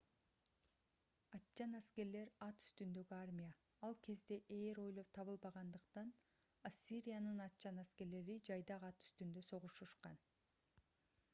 атчан аскерлер ат үстүндөгү армия ал кезде ээр ойлоп табылбагандыктан ассириянын атчан аскерлери жайдак ат үстүндө согушушкан